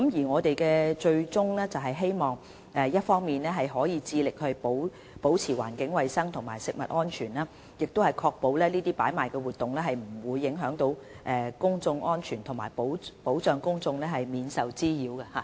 我們的最終目標，是希望一方面致力保持環境衞生和食物安全，另一方面確保這些擺賣活動不影響公眾安全，並保障公眾免受滋擾。